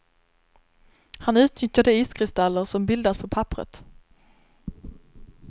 Han utnyttjar de iskristaller som bildas på papperet.